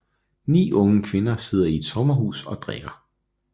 Ni unge kvinder sidder i et sommerhus og drikker